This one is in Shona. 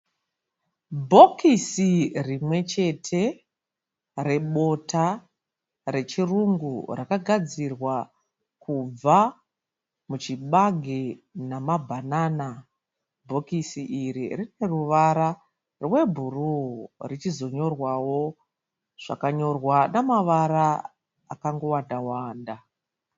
Bhokisi rimwe chete rebota rechirungu rakagadzirwa kubva muchibage namabhanana. Bhokisi iri rine ruvara rwebhuruu richizonyorwawo zvakanyorwa namavara akangowanda wanda.